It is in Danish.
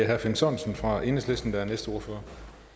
herre finn sørensen fra enhedslisten der er den næste ordfører